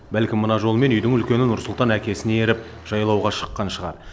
бәлкім мына жолмен үйдің үлкені нұрсұлтан әкесіне еріп жайлауға шыққан шығар